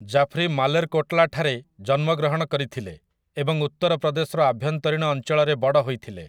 ଜାଫ୍ରି ମାଲେର୍‌କୋଟ୍‌ଲା ଠାରେ ଜନ୍ମଗ୍ରହଣ କରିଥିଲେ ଏବଂ ଉତ୍ତର ପ୍ରଦେଶର ଆଭ୍ୟନ୍ତରୀଣ ଅଞ୍ଚଳରେ ବଡ଼ ହୋଇଥିଲେ ।